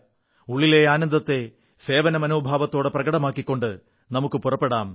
ഉള്ളിലെ ആനന്ദത്തെ സേവനമനോഭാവത്തോടെ പ്രകടമാക്കിക്കൊണ്ട് നമുക്കു മുന്നേറാം